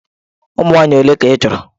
Ụmụ nwaanyị ole ka ị chọrọ?